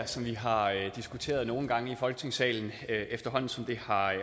som vi har diskuteret nogle gange i folketingssalen efterhånden som det